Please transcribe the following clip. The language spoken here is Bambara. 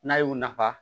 N'a y'u nafa